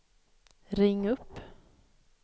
ring upp